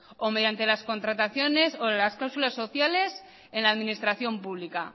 o mediante las contrataciones o las cláusulas sociales en la administración pública